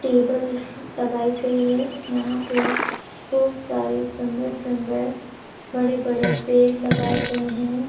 Table लगाई गई है यहाँ पर खूब सारी सुंदर-सुंदर बड़े-बड़े पेड़ लगाए गए हैं।